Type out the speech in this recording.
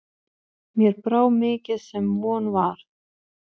Mér brá mikið sem von var.